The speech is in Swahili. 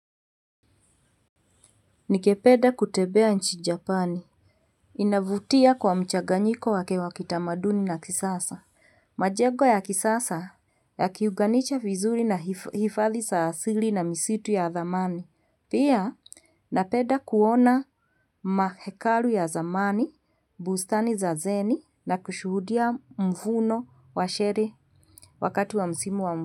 Nikependa kutembea nchia japani. Inavutia kwa mchaganyiko wake wakitamaduni na kisasa. Majego ya kisasa ya kiuganisha fizuli na hifadhi sa asili na misitu ya dhamani. Pia napeda kuona mahekalu ya zamani, bustani za zeni na kushuhudia mvuno wa shere wakati wa msimu wa mbuno.